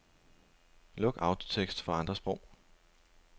Luk autotekst for andre sprog.